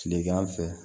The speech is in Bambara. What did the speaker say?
Tilegan fɛ